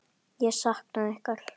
Ég sakna ykkar.